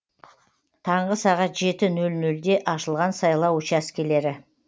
таңғы сағат жеті нөл нөлде ашылған сайлау учаскелері